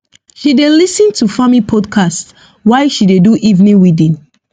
she dey lis ten to farming podcasts while she dey do evening weeding